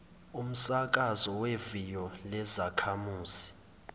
umsakazo weviyo lezakhamuzi